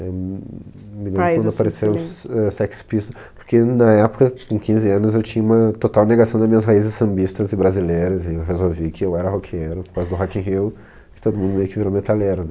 Eh hum, me lembro quando apareceu s éh Sex Pistol, porque na época, com quinze anos, eu tinha uma total negação da minhas raízes sambistas e brasileiras, e eu resolvi que eu era roqueiro, por causa do Rock in Rio, porque todo mundo meio que virou metaleiro,